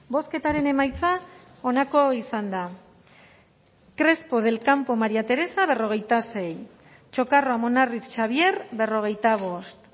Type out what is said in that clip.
bozketaren emaitza onako izan da crespo del campo maría teresa cuarenta y seis txokarro amunarriz xabier berrogeita bost